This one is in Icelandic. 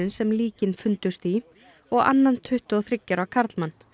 sem líkin fundust í og annan tuttugu og þriggja ára karlmann